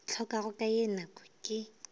hlokago ka ye nako ke